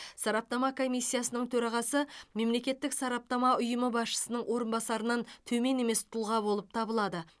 сараптама комиссиясының төрағасы мемлекеттік сараптама ұйымы басшысының орынбасарынан төмен емес тұлға болып табылады